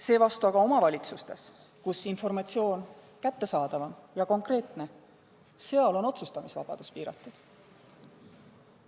Seevastu omavalitsustes, kus informatsioon on paremini kättesaadav ja konkreetsem, on otsustamisvabadus piiratud.